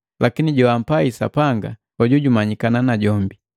Lakini joampai Sapanga, hoju jumanyikana najombi.